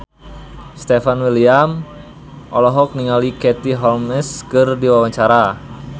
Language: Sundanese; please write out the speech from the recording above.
Stefan William olohok ningali Katie Holmes keur diwawancara